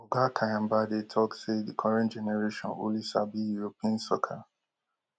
oga kyambadde tok say di current generation only sabi europin soccer